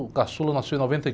O caçula nasceu em noventa e